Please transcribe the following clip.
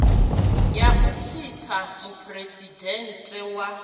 ya u tsitsa muphuresidennde wa